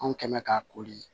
Anw kɛn mɛ k'a koli